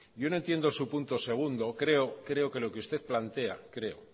yo no entiendo su punto segundo creo que lo que usted plantea creo